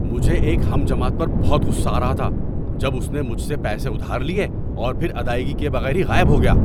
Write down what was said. مجھے ایک ہم جماعت پر بہت غصہ آ رہا تھا جب اس نے مجھ سے پیسے ادھار لیے اور پھر ادائیگی کیے بغیر ہی غائب ہو گیا۔